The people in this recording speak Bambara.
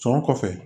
Sɔn kɔfɛ